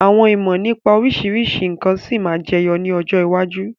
Àwọn ìmọ̀ nípa oríṣiríṣi nkan sì máa ma jẹyọ ni ọjọ́ iwájú.